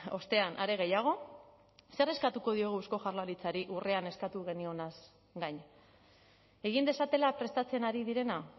ostean are gehiago zer eskatuko diogu eusko jaurlaritzari urrian eskatu genionaz gain egin dezatela prestatzen ari direna